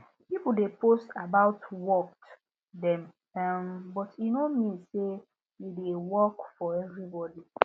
people de post about worked dem um but e no mean say e de work for every body